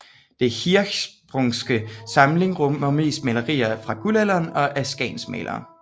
Den Hirschsprungske samling rummer mest malerier fra Guldalderen og af skagensmalerne